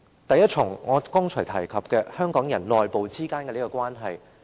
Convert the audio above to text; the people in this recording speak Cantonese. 首先是我剛才提及香港人內部之間的關係。